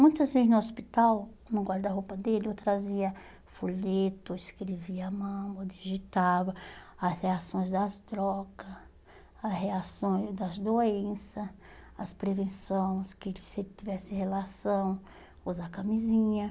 Muitas vezes no hospital, no guarda-roupa dele, eu trazia folhetos, escrevia a mão, digitava as reações das droga, as reações das doença, as prevenção, que se ele tivesse relação, usar camisinha.